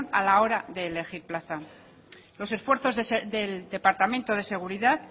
a la hora de elegir plaza los esfuerzos del departamento de seguridad